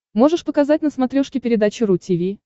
можешь показать на смотрешке передачу ру ти ви